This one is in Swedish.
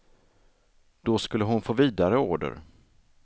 Då skulle hon få vidare order.